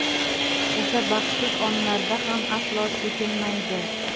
o‘sha baxtsiz onlarda ham aslo chekinmaydi.